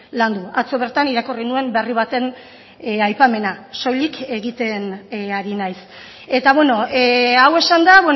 landu atzo bertan irakurri nuen berri baten aipamena soilik egiten ari naiz eta hau esanda